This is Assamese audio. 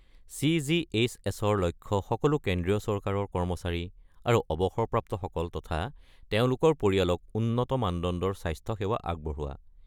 চি.জি.এইচ.এছ.-ৰ লক্ষ্য সকলো কেন্দ্ৰীয় চৰকাৰৰ কৰ্মচাৰী আৰু অৱসৰপ্ৰাপ্ত সকল তথা তেওঁলোকৰ পৰিয়ালক উন্নত মানদণ্ডৰ স্বাস্থ্য সেৱা আগবঢ়োৱা।